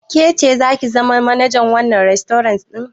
Ke ce zaki zama manajar wannan rastorant ɗin?